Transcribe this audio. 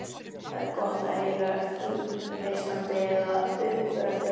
Það er gott að heyra hughreystandi eða uppörvandi orð.